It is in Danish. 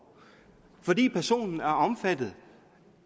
fordi personen er omfattet